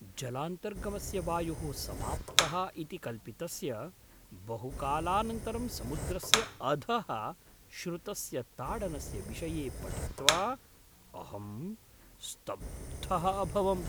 जलान्तर्गमस्य वायुः समाप्तः इति कल्पितस्य बहुकालानन्तरं समुद्रस्य अधः श्रुतस्य ताडनस्य विषये पठित्वा अहं स्तब्धः अभवम्।